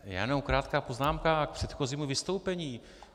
Já jenom krátká poznámka k předchozímu vystoupení.